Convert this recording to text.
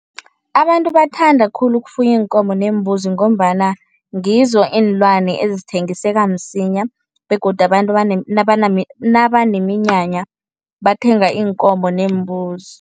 Abantu bathanda khulu ukufuya iinkomo neembuzi ngombana ngizo iinlwane ezithengiseka msinya begodu abantu nabaneminyanya bathenga iinkomo neembuzi.